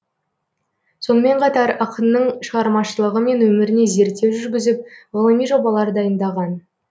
сонымен қатар ақынның шығармашылығы мен өміріне зерттеу жүргізіп ғылыми жобалар дайындаған